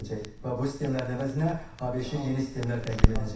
Və bu sistemlərin əvəzinə ABŞ-a yeni sistemlər təqdim edəcək.